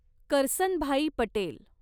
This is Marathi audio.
करसनभाई पटेल